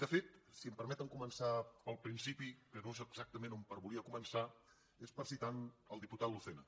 de fet si em per meten començar pel principi que no és exactament per on volia començar és per citar el diputat lucena